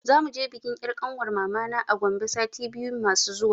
Za muje bikin 'yar kanwar mamana a Gombe sati biyu masu zuwa.